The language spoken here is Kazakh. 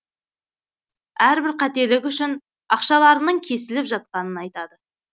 әрбір қателік үшін ақшаларының кесіліп жатқанын айтады